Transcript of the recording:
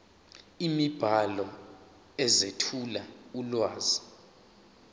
imibhalo ezethula ulwazi